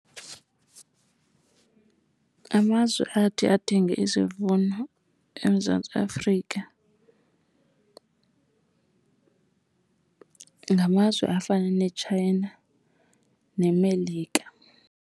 Amazwe athi athenge isivuno eMzantsi Afrika ngamazwe afana neTshayina neMelika.